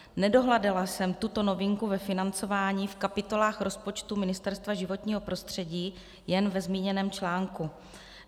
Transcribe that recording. Nedohledala jsem tuto novinku ve financování v kapitolách rozpočtu Ministerstva životního prostředí, jen ve zmíněném článku.